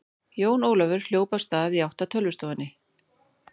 Jón Ólafur hljóp af stað í átt að tölvustofunni.